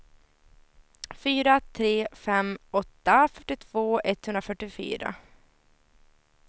fyra tre fem åtta fyrtiotvå etthundrafyrtiofyra